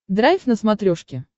драйв на смотрешке